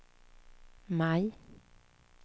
maj